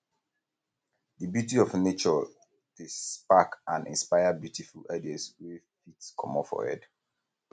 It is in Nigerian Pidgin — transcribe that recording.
di beauty of nature dey spark and inspire um beautiful um ideas wey fit comot for head